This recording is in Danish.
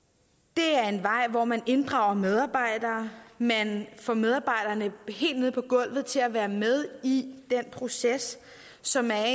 det er en vej hvor man inddrager medarbejdere man får medarbejderne helt nede på gulvet til at være med i den proces som er